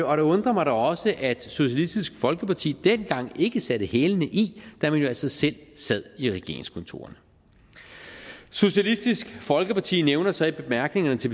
og det undrer mig da også at socialistisk folkeparti dengang ikke satte hælene i da man altså selv sad i regeringskontorerne socialistisk folkeparti nævner så i bemærkningerne til